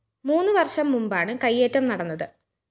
മുന്ന് വര്‍ഷം മുമ്പാണ് കയ്യേറ്റം നടന്നത്